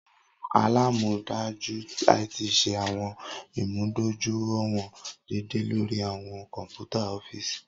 Awọn alamọdaju IT ṣe awọn imudojuiwọn deede lori awọn kọ̀npútà ọfiisi.